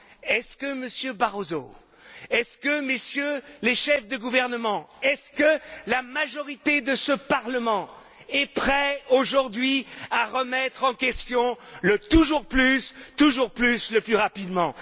Est ce que, Monsieur Barroso, est ce que, Messieurs les chefs de gouvernement, est ce que la majorité de ce Parlement est prête aujourd'hui à remettre en question le toujours plus, toujours plus, le plus rapidement?